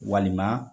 Walima